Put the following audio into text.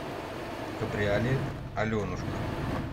кабриолет аленушка